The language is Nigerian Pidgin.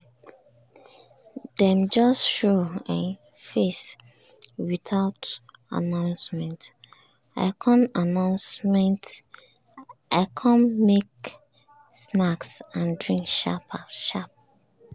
dem just show um face um without announcement; i com announcement; i com make snacks and drink sharp sharp.